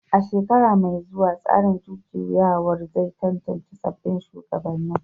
A shekara mai zuwa, tsarin jujjuyawar zai tantance sabbin shugabannin